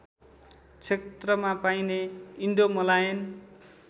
क्षेत्रमा पाइने इन्डोमलायन